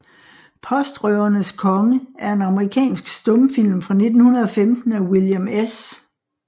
Postrøvernes Konge er en amerikansk stumfilm fra 1915 af William S